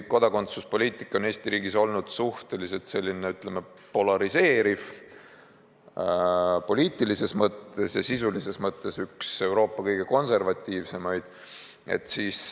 Kodakondsuspoliitika on Eesti riigis olnud suhteliselt selline, ütleme, poliitilises mõttes polariseeriv ja sisulises mõttes üks Euroopa kõige konservatiivsemaid.